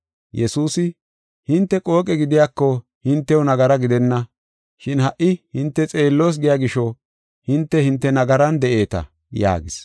Yesuusi, “Hinte qooqe gidiyako hintew nagara gidenna. Shin ha77i hinte xeelloos giya gisho hinte, hinte nagaran de7eeta” yaagis.